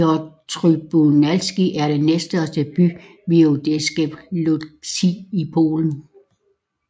Piotrków Trybunalski er den næststørste by voivodskabet Łódzkie i Polen